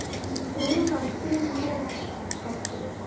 Núna skil ég, pabbi.